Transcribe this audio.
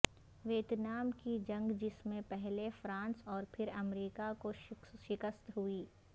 Vietnam کی جنگ جس میں پہلے فرانس اور پھر امریکہ کو شکست ہوئی